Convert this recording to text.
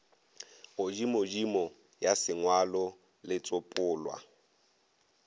godimodimo ya sengwalo le setsopolwa